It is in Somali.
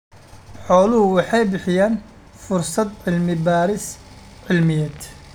Xooluhu waxay bixiyaan fursado cilmi-baadhis cilmiyeed.